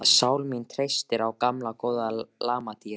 Sál mín treystir á gamla góða lamadýrið.